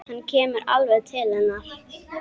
Hann kemur alveg til hennar.